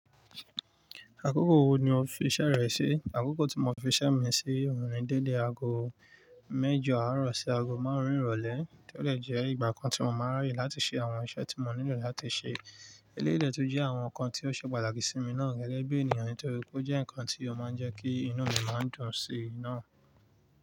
Àkókò wo ni o fi iṣẹ́ rẹ sí? Àkókò tí mo fi iṣẹ́ mi sí òun ni dédé aago mẹ́jọ àárọ̀ sí aago márùn-ún ìrọ̀lẹ́ tí ó jẹ́ ìgbà kan tí mo máa ń ráyè láti ṣe àwọn iṣẹ́ tí mò ń nílò láti ṣe. Eléyi tó jẹ́ àwọn nǹkan tí ó ṣe pàtàkì sí mi náà gẹ́gẹ́ bí ènìyàn nítorí pé ó jẹ́ nǹkan tí ó máa ń jẹ́ kí inú mi máa dùn sí i náà.